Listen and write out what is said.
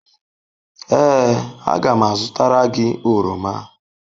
Ee, a ga m azụtara gị oroma.